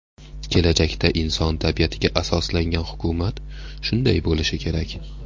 Kelajakda inson tabiatiga asoslangan hukumat shunday bo‘lishi kerak.